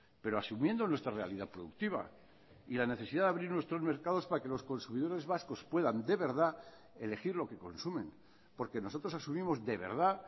pero asumiendo nuestra realidad productiva y la necesidad de abrir nuestros mercados para que los consumidores vascos puedan de verdad elegir lo que consumen porque nosotros asumimos de verdad